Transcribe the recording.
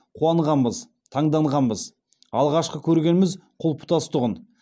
қуанғанбыз таңданғанбыз алғашқы көргеніміз құлпытас тұғын